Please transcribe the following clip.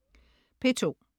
P2: